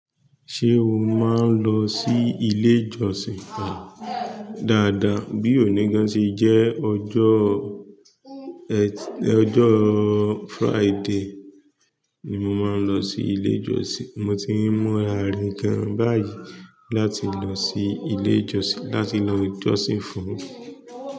Ṣé o máa ń lọ sí ilé ìjọsìn? Dáadáa, bí oní gan se jẹ́ ọjọ́ Friday ni mo máa ń lọ sí ilé ìjọsìn. Mo ti ń múra re gan báyi láti lọ sí ilé ìjọsìn, láti lọ jọ́sìn fún.